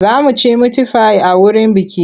Za mu ci mitifai a wurin bukih.